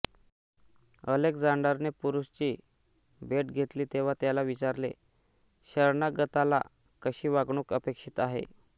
अलेक्झांडरने पुरूची भेट घेतली तेव्हा त्याला विचारले शरणागताला कशी वागणूक अपेक्षित आहे